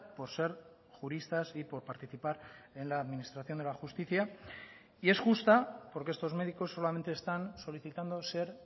por ser juristas y por participar en la administración de la justicia y es justa porque estos médicos solamente están solicitando ser